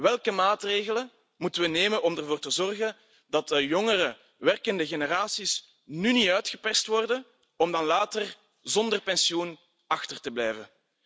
Welke maatregelen moeten we nemen om ervoor te zorgen dat de jongere, werkende generaties nu niet uitgeperst worden om dan later zonder pensioen achter te blijven.